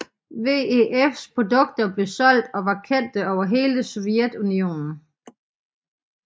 VEFs produkter blev solgt og var kendte over hele Sovjetunionen